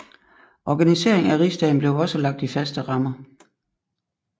Organiseringen af rigsdagen blev også lagt i fastere rammer